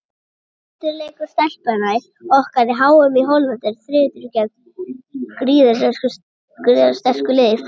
Fyrsti leikur Stelpnanna okkar á EM í Hollandi er á þriðjudaginn gegn gríðarsterku liði Frakklands.